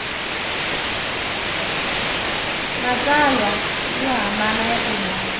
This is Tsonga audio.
matsalwa yo hambana ya timhaka